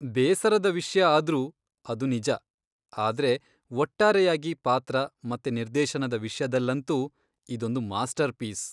ಬೇಸರದ ವಿಷ್ಯ ಆದ್ರೂ ಅದು ನಿಜ, ಆದ್ರೆ ಒಟ್ಟಾರೆಯಾಗಿ ಪಾತ್ರ ಮತ್ತೆ ನಿರ್ದೇಶನದ ವಿಷ್ಯದಲ್ಲಂತೂ ಇದೊಂದು ಮಾಸ್ಟರ್ಪೀಸ್.